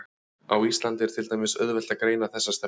Á Íslandi er til dæmis oft auðvelt að greina þessa stefnu.